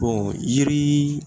Bɔn yiri